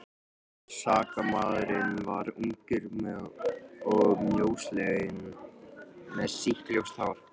Sakamaðurinn var ungur og mjósleginn með sítt ljóst hár.